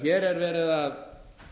hér er verið að